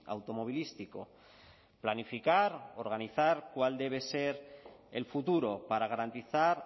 automovilístico planificar organizar cuál debe ser el futuro para garantizar